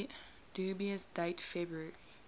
dubious date february